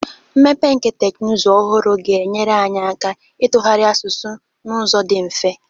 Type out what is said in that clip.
Mmepe nke teknụzụ ọhụrụ ga-enyere anyị aka ịtụgharị asụsụ n'ụzọ dị mfe.